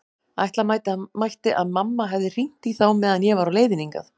Ætla mætti að mamma hefði hringt í þá meðan ég var á leiðinni hingað.